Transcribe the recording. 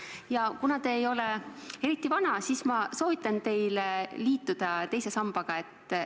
Ja kuna te ei ole eriti vana, siis soovitan ma teilgi liituda teise sambaga.